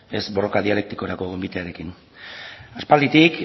ez borroka dialektikorako gonbitearekin aspalditik